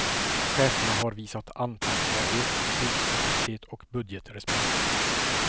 Cheferna har visat anpassbarhet, beslutskapacitet och budgetrespekt.